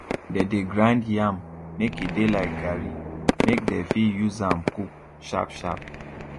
they dey grind yam make e de like garri make dey fit use am cook sharp sharp